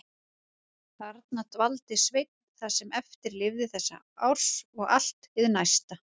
Þarna dvaldi Sveinn það sem eftir lifði þessa árs og allt hið næsta.